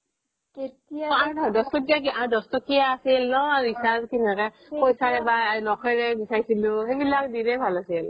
দহ টকীয়া আৰু দহ টকীয়া আছিল ন recharge পইচাৰে বা নখেৰে গুছাইছিলো সেইবিলাক দিনেই ভাল আছিল